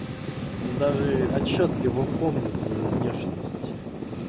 даже отчётливо помню твою внешность